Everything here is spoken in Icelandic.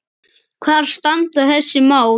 Hvar standa þessi mál?